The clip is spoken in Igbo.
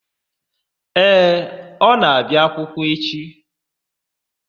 Ee, ọ na-abịa akwụkwọ n'oge.